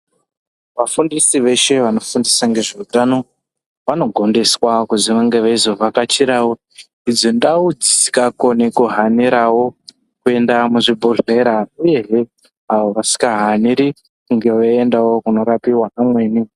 Vafundisi veshe vanofundisa ngezveutano vanogondeswa kuzi vanenge veizovhakachirawo idzo ndau dzisingakoni kuhanirawo kuenda mizvibhedhlera uyezve avo vasingahaniri kundoendawo kunorapirwa vamweni.